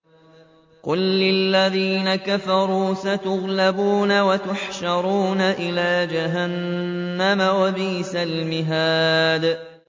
قُل لِّلَّذِينَ كَفَرُوا سَتُغْلَبُونَ وَتُحْشَرُونَ إِلَىٰ جَهَنَّمَ ۚ وَبِئْسَ الْمِهَادُ